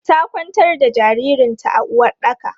Ta kwantar da jaririn ta a uwaɗɗaka.